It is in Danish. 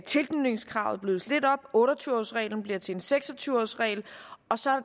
tilknytningskravet blødes lidt op otte og tyve års reglen bliver til en seks og tyve års regel og så er